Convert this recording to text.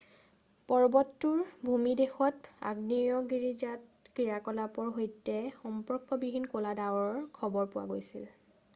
পৰ্বতটোৰ ভূমিদেশত আগ্নেয়গিৰিজাত ক্ৰিয়াকলাপৰ সৈতে সম্পৰ্কবিহীন ক'লা ডাৱৰ খবৰ পোৱা গৈছিল